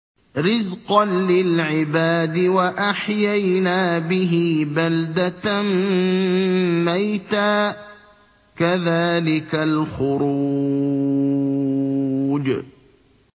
رِّزْقًا لِّلْعِبَادِ ۖ وَأَحْيَيْنَا بِهِ بَلْدَةً مَّيْتًا ۚ كَذَٰلِكَ الْخُرُوجُ